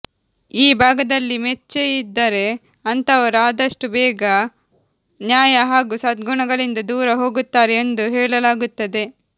ಈ ಭಾಗದಲ್ಲಿ ಮಚ್ಚೆಯಿದ್ದರೆ ಅಂತವರು ಆದಷ್ಟು ಬೇಗೆ ನ್ಯಾಯ ಹಾಗೂ ಸದ್ಗುಣಗಳಿಂದ ದೂರ ಹೋಗುತ್ತಾರೆ ಎಂದು ಹೇಳಲಾಗುತ್ತದೆ